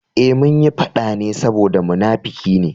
Eh, munyi faɗa ne saboda munafuki ne.